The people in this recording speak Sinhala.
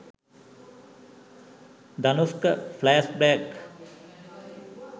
danushka flash back